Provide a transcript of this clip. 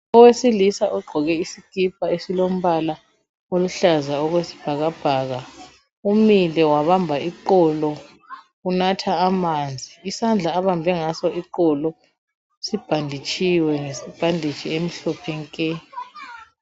Owesilisa ogqoke isikipa esilombala oluhlaza okwesibhakabhaka umile wabamba iqolo unatha amanzi. Isandla abambe ngaso iqolo sibhanditshiwe ngebhanditshi emhlophe nke.